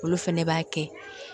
Olu fɛnɛ b'a kɛ